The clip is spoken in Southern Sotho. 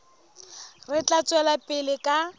re tla tswela pele ka